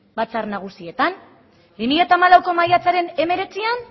batzar nagusietan bi mila hamalauko maiatzaren hemeretzian